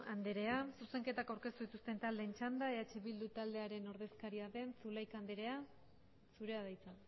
andrea zuzenketak aurkeztu dituzten taldeen txanda eh bildu taldearen ordezkaria den zulaika andrea zurea da hitza